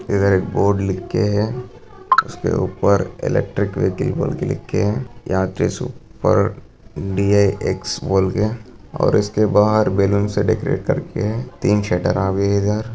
इधर एक बोर्ड लिखके इ सके ऊपर इलेक्ट्रिक बिक्री लिखकर यहाँ पे सुपर डी ए एक्स बोलकर और इसके बाहर बलून से डेकोरेट करके तीन शटर आ भी इधर।